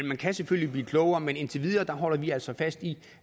man kan selvfølgelig blive klogere men indtil videre holder vi altså fast i